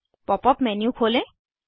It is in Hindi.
पॉप अप मेन्यू खोलें